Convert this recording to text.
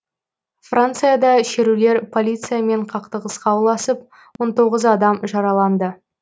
францияда шерулер полициямен қақтығысқа ұласып он тоғыз адам жараланды